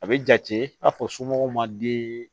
A bɛ jate i n'a fɔ somɔgɔw ma den